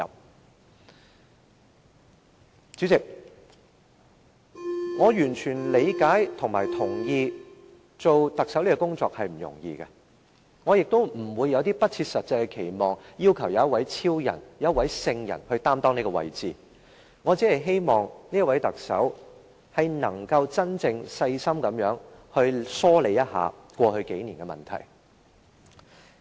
代理主席，我完全理解及認同出任特首並非易事，我亦不會有不切實際的期望，要求由一位超人或聖人擔當這個位置，我只希望這位特首能夠真正細心地疏理一下過去數年的問題。